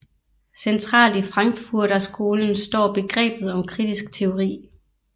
Centralt i Frankfurterskolen står begrebet om kritisk teori